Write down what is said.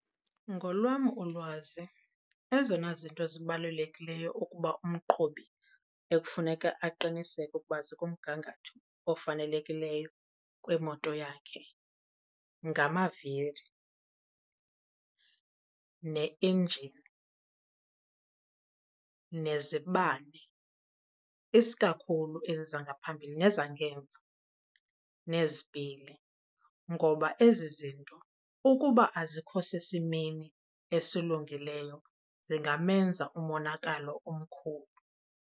Ngolwam ulwazi, ezona zinto zibalulekileyo ukuba umqhubi ekufuneka aqiniseke ukuba zikumgangatho ofanelekileyo kwimoto yakhe ngamaviri, ne-enjini, nezibane isikakhulu ezi zangaphambili nezangemva, nezipili. Ngoba ezi zinto ukuba azikho sesimeni esilungileyo zingamenza umonakalo omkhulu.